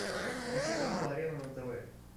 включи канал арена на тв